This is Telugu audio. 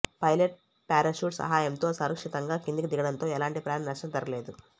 పైలట్ ప్యారాచూట్ సహాయంతో సురక్షితంగా కిందికి దిగడంతో ఎలాంటి ప్రాణ నష్టం జరుగలేదు